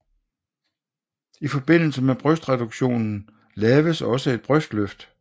I forbindelse med brystreduktionen laves også et brystløft